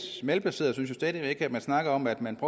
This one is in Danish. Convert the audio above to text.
malplaceret at man snakker om at man